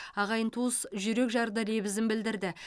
ағайын туыс жүрекжарды лебізін білдірді